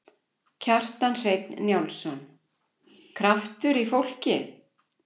Kjartan Hreinn Njálsson: Kraftur í fólki?